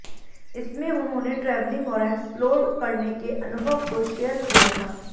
इसमें उन्होंने ट्रेवलिंग और एक्सप्लोर करने के अनुभव को शेयर किया था